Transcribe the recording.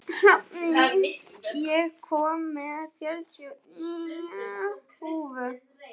Hrafndís, ég kom með fjörutíu og níu húfur!